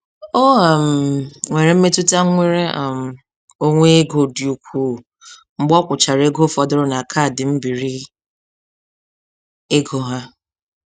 O um nwere mmetụta nnwere um onwe ego dị ukwu, mgbe ọkwụchara ego fọdụrụ na kaadị mbiri ego ha.